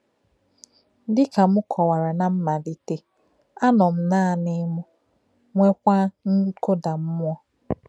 Dị ka m kọ́wara ná mmálítè, ànọ m nanị m, nweèkwa nkùdá mmúọ.